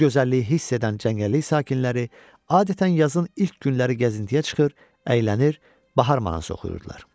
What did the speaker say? Bu gözəlliyi hiss edən cəngəllik sakinləri adətən yazın ilk günləri gəzintiyə çıxır, əylənir, bahar mahnısı oxuyurdular.